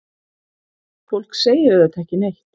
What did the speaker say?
Fólk segir auðvitað ekki neitt.